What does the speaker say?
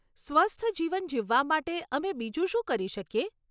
સ્વસ્થ જીવન જીવવા માટે અમે બીજું શું કરી શકીએ?